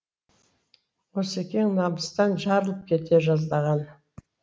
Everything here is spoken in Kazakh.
осекең намыстан жарылып кете жаздаған